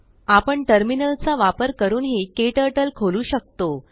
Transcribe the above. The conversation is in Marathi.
आपणTerminalचा वापर करूनही केटर्टल खोलु शकतो